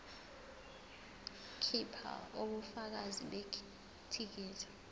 khipha ubufakazi bethikithi